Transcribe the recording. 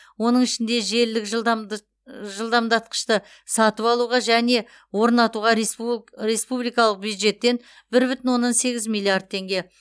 оның ішінде желілік жылдамдатқышты сатып алуға және орнатуға республикалық бюджеттен бір бүтін оннан сегіз миллиард теңге